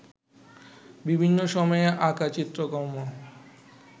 বিভিন্ন সময়ে আঁকা চিত্রকর্ম